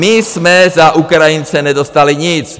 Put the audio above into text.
My jsme za Ukrajince nedostali nic.